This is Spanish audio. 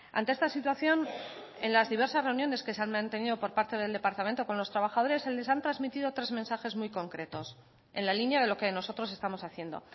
ante esta situación en las diversas reuniones que se han mantenido por parte del departamento con los trabajadores se les han transmitido tres mensajes muy concretos en la línea de lo que nosotros estamos haciendo